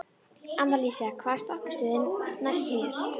Annalísa, hvaða stoppistöð er næst mér?